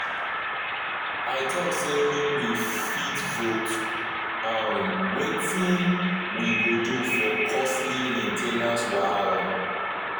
i talk say make we fit vote um wetin we go do for costly main ten ance wahala.